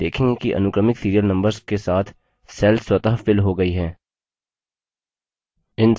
हम देखेंगे कि अनुक्रमिक serial numbers के साथ cells स्वतः filled हो गई हैं